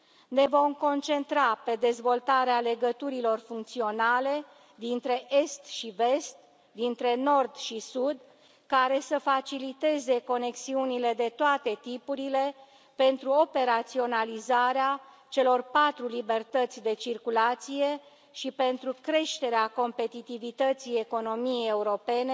Ne vom concentra pe dezvoltarea legăturilor funcționale dintre est și vest, dintre nord și sud, care să faciliteze conexiunile de toate tipurile, pentru operaționalizarea celor patru libertăți de circulație și pentru creșterea competitivității economiei europene